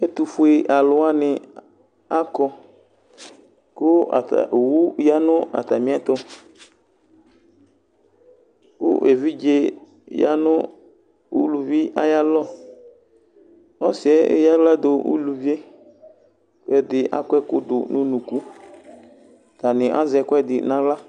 ɛtufue aluwani akɔKʋ ata, owu ya nu atamiɛtuKʋ evidze yanu uluvi ayalɔƆsiyɛ eyaɣla du uluvieKʋ ɛdi akɔ ɛkudu nʋ unukuAtani azɛ ɛkuɛdi naɣla